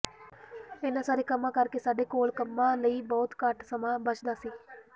ਇਨ੍ਹਾਂ ਸਾਰੇ ਕੰਮਾਂ ਕਰਕੇ ਸਾਡੇ ਕੋਲ ਕੰਮਾਂ ਲਈ ਬਹੁਤ ਘੱਟ ਸਮਾਂ ਬਚਦਾ ਸੀ